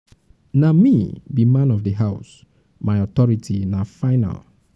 na me be man of di house my authority na final.